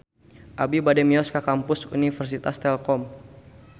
Abi bade mios ka Kampus Universitas Telkom